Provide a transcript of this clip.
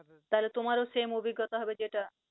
তোমারও same অভিজ্ঞতা হবে যেটা।